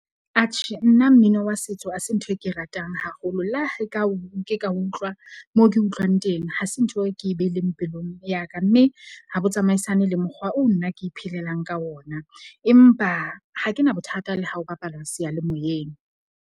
Atjhe nna, mmino wa setso ha se ntho e ke e ratang haholo. Le ha e ka o ka utlwa moo ke utlwang teng. Ha se ntho e ke e behileng pelong ya ka. Mme ha bo tsamaisane le mokgwa oo nna ke iphelelang ka ona, empa ha ke na bothata le ha ho bapalwa seyalemoyeng.